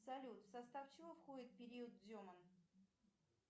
салют в состав чего входит период дзема